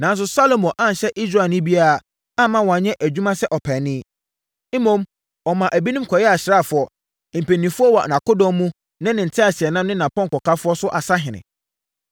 Nanso, Salomo anhyɛ Israelni biara amma wanyɛ adwuma sɛ ɔpaani. Mmom, ɔmaa ebinom kɔyɛɛ asraafoɔ, mpanimfoɔ wɔ nʼakodɔm mu ne ne nteaseɛnam ne nʼapɔnkɔkafoɔ so asahene.